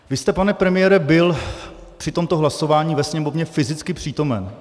Vy jste, pane premiére, byl při tomto hlasování ve Sněmovně fyzicky přítomen.